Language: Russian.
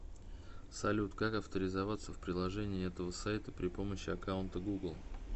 салют как авторизоваться в приложении этого сайта при помощи аккаунта гугл